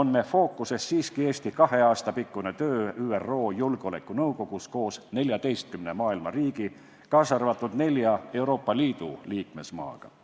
on meie fookuses siiski Eesti kahe aasta pikkune töö ÜRO Julgeolekunõukogus koos 14 riigi, kaasa arvatud nelja Euroopa Liidu liikmesmaaga.